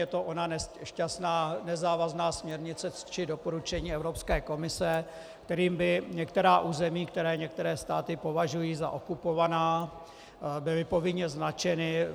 Je to ona nešťastná nezávazná směrnice či doporučení Evropské komise, kterým by některá území, která některé státy považují za okupovaná, byla povinně značena.